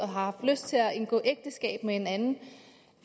haft lyst til at indgå ægteskab med en anden